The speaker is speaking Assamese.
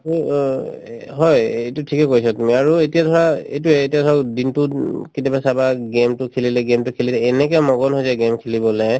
to অ এ হয় এইটো ঠিকে কৈছা তুমি আৰু এতিয়া ধৰা এইটোয়ে এতিয়া ধৰক দিনতোত উম কেতিয়াবা চাবা game তো খেলিলে game তো খেলিলে এনেকে মগন হৈ যায় game খেলিবলে